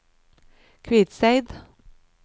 Kvitseid